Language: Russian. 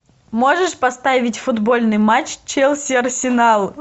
можешь поставить футбольный матч челси арсенал